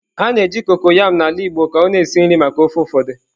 A na-eji kokoyam n'ala Igbo ka ọ na-esi nri maka ofe ụfọdụ.